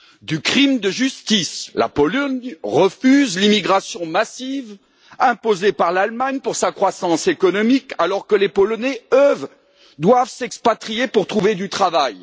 Du crime de justice la Pologne refuse l'immigration massive imposée par l'Allemagne pour sa croissance économique, alors que les Polonais, eux, doivent s'expatrier pour trouver du travail.